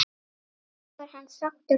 Gengur hann sáttur frá borði?